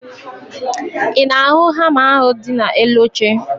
Ị na-ahụ hama ahụ dị n'elu oche?